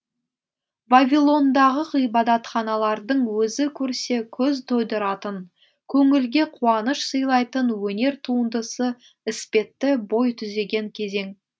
вавилондағы ғибадатханалардың өзі көрсе көз тойдыратын көңілге қуаныш сыйлайтын өнер туындысы іспетті бой түзеген кезең